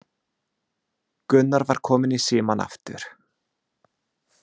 Gunnar var kominn í símann aftur.